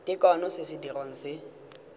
tekano se se dirwang se